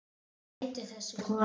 Hvað heitir þessi kona?